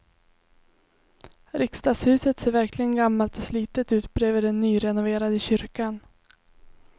Riksdagshuset ser verkligen gammalt och slitet ut bredvid den nyrenoverade kyrkan.